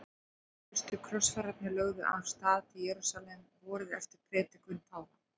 Fyrstu krossfararnir lögðu af stað til Jerúsalem vorið eftir predikun páfa.